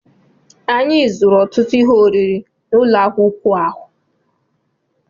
Anyị zụrụ ọtụtụ ihe oriri n'ụlọ ahịa ụkwụ ahụ